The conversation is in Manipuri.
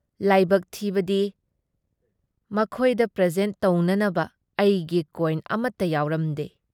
ꯂꯥꯏꯕꯛ ꯊꯤꯕꯗꯤ ꯃꯈꯣꯏꯗ ꯄ꯭ꯔꯦꯖꯦꯟꯠ ꯇꯧꯅꯅꯕ ꯑꯩꯒꯤ ꯀꯣꯏꯅ ꯑꯃꯠꯇ ꯌꯥꯎꯔꯝꯗꯦ ꯫